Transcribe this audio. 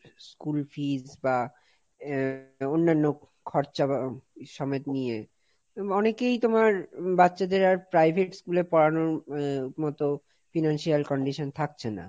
school fees বা আহ অন্যান্য খরচা সমেত নিয়ে, অনেকেই তোমার বাচ্চাদের আর private schoolএ পড়ানোর আহ মতো financial condition থাকছে না।